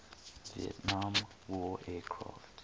vietnam war aircraft